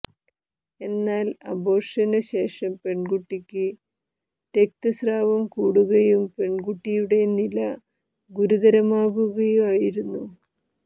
എന്നാൽ അബോര്ഷന് ശേഷം പെണ്കുട്ടിക്ക് രക്തസ്രാവം കൂടുകയും പെൺകുട്ടിയുടെ നില ഗുരുതരമാകുകയായിരുന്നു